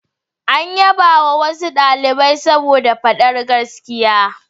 An yabawa wasu ɗalibai saboda faɗar gaskiya.